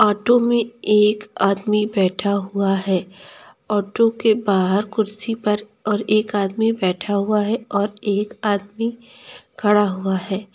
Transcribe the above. Auto में एक आदमी बैठा हुआ है ऑटो के बाहर कुर्सी पर और एक आदमी बैठा हुआ है और एक आदमी खड़ा हुआ है।